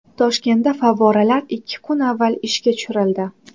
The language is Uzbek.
Toshkentda favvoralar ikki kun avval ishga tushirildi.